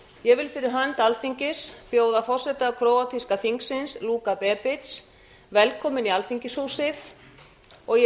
ég vil fyrir hönd alþingis bjóða forseta króatíska þingsins luka bebic velkominn í alþingishúsið og ég